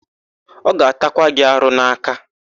Ọ ga-atakwa gị arụ n'aka.